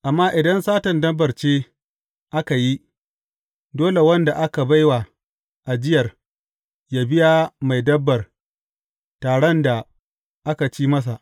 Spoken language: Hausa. Amma idan satan dabbar ce aka yi, dole wanda aka bai wa ajiyar yă biya mai dabbar taran da aka ci masa.